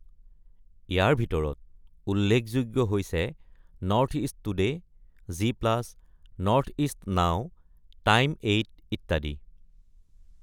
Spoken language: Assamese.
ইয়াৰ ভিতৰত উল্লেখযোগ্য হৈছে North East Today, Zee Plus, North East Now, Time Eight ইত্যাদি।